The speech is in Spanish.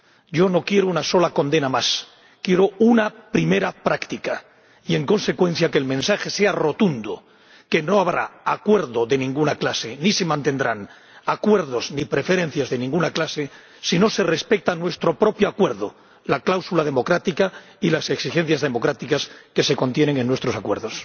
Yo no quiero una sola condena más, quiero una primera práctica y, en consecuencia, que el mensaje sea rotundo que no habrá acuerdo de ninguna clase, ni se mantendrán acuerdos ni preferencias de ninguna clase si no se respeta nuestro propio acuerdo la cláusula democrática y las exigencias democráticas que contienen nuestros acuerdos.